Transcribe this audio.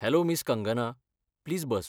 Hello miss Kangana, please bus.